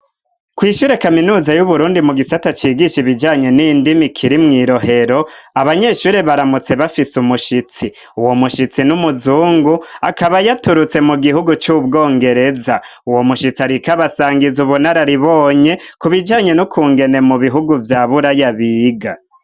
Kw'shure kaminuza y'uburundi mu gisata cigisha ibijanye n'indimi kiri mwirohero, abanyeshuri baramutse bafise umushitsi ,uwo mushitsi n'umuzungu ,akaba yaturutse mu gihugu cy'ubwongereza ,uwo mushitsi arik'abasangiza ubunararibonye ,ku bijanye n'ukungene mu bihugu vya buraya biga.